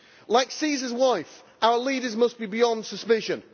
Like Caesar's wife, our leaders must be beyond suspicion.